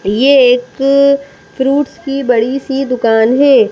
ये एक अ फ्रूट्स की बड़ी सी दुकान है।